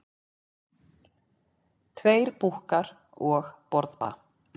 Tveir búkkar og borðplata.